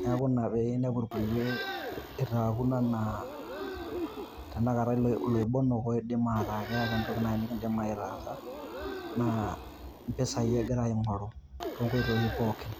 neeku Ina pee inepu irkulie eitaakuno enaa ilobonok naaji loidim ataa kakiidim aitaasa naa empisai egira aing'oru toonkoitoi pookin.